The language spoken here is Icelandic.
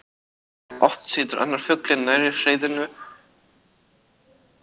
Oft situr annar fuglinn nærri hreiðrinu og fylgist með umhverfinu.